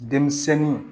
Denmisɛnnin